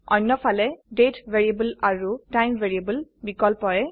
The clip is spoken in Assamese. অন্যফালে তাৰিখ আৰু সময় বিকল্পয়ে